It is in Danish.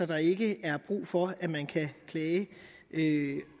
der ikke er brug for at man kan klage